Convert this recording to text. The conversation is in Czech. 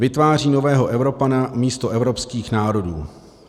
Vytváří nového Evropana místo evropských národů.